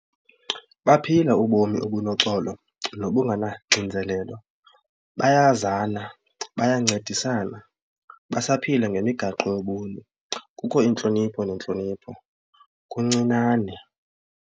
Baphila ubomi obunoxolo nobunganaxinzelelo bayazana bayancedisana basaphila ngemigaqo yobomi kukho intlonipho nentlonipho kuncinane.